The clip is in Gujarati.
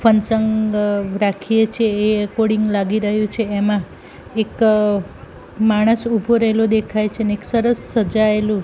ફનસંગ રાખીએ છે એ એકોર્ડિંગ લાગી રહ્યુ છે એમા એક માણસ ઊભો રેલો દેખાય છે ને એક સરસ સજાયેલુ--